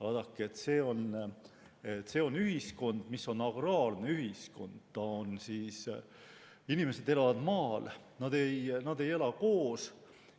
Vaadake, see oli agraarne ühiskond: inimesed elasid maal, nad ei elanud koos